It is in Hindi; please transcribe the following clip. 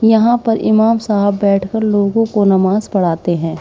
यहां पर इमाम साहब बैठकर लोगों को नमाज पढ़ाते हैं।